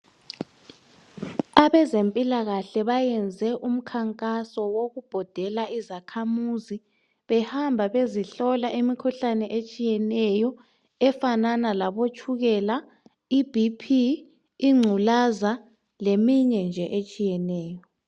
Abezempilakahle bayenze umkhankaso wokubhodela izakhamuzi behamba bezihlola imikhuhlane etshiyeneyo efanana labotshukela, iBP ingculaza leminye nje etshiyeneyo.